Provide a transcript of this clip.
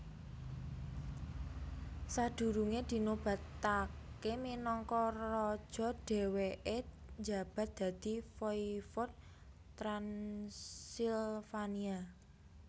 Sadurunge dinobatake minangka raja dheweke njabat dadi Voivode Transilvania